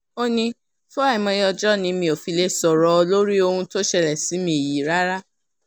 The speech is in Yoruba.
ó ní fún àìmọye ọjọ́ ni mi ò fi lè sọ̀rọ̀ lórí ohun tó ṣẹlẹ̀ sí mi yìí rárá